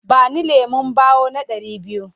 Ba ni lemon ɓawo na ɗari biyu!